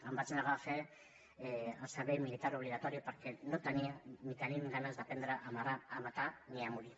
em vaig negar a fer el servei militar obligatori perquè no tenia ni tenim ganes d’aprendre a matar ni a morir